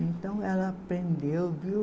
Então ela aprendeu, viu?